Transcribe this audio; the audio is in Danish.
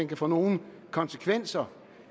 kan få nogen konsekvenser